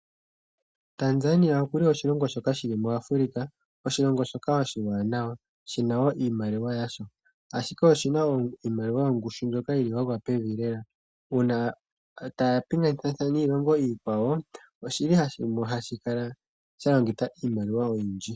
Tanzania okuli oshilongo shoka shili muAfrica oshilongo shoka oshiwaanawa shina woo iimaliwa yasho, ashike oshina iimaliwa yongushu mbyoka yili yagwa pevi lela uuna taapingathana niilongo iikwawo oshili hashi kala shalongitha iimaliwa oyindji.